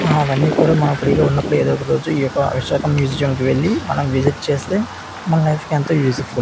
అవన్నీ కూడా మనం ఫ్రీ గా ఉన్నప్పుడు ఏదో ఒక రోజు ఈ యొక్క విశాఖ మ్యూజియంకి వెళ్లి మనం విసిట్ చేస్తే మన లైఫ్ కి ఎంతో యూస్ ఫుల్.